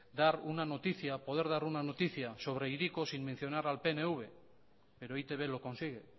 poder dar una noticia sobre hiriko sin mencionar al pnv pero e i te be lo consigue